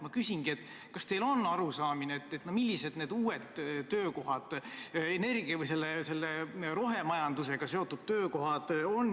Ma küsingi, kas teil on arusaamine, millised need uued energia rohemajandusega seotud töökohad on.